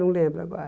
Não lembro agora.